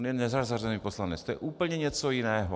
On je nezařazený poslanec, to je úplně něco jiného.